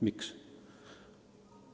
Miks?